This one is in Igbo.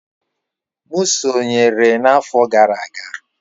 M sonyeere n'afọ gara aga.